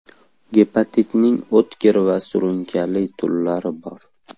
Gepatitning o‘tkir va surunkali turlari bor.